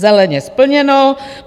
Zeleně splněno.